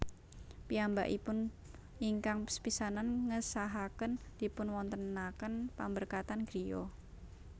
Piyambakipun ingkang sepisanan ngesahaken dipunwontenaken pamberkatan griya